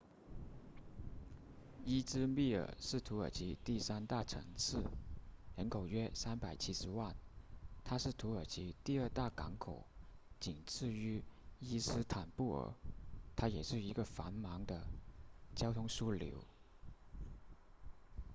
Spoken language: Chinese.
伊兹密尔是土耳其第三大城市人口约370万它是土耳其第二大港口仅次于伊斯坦布尔它也是一个繁忙的交通枢纽